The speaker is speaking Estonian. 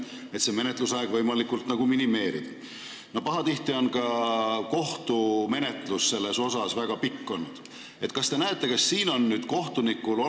Siin on mõnikord – õigemini mitte mõnikord, vaid viimasel ajal päris aktiivselt – polemiseeritud eriti kriminaalmenetluse puhul kogu protsessi ülemäärase pikkuse üle, alustades menetluse algusest kuni lõpuks kohtuotsuseni jõudmiseni.